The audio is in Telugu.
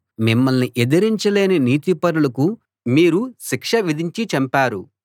మిమ్మల్ని ఎదిరించలేని నీతిపరులకు మీరు శిక్ష విధించి చంపారు